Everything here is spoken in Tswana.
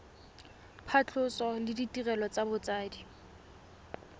phatlhoso le ditirelo tsa botsadi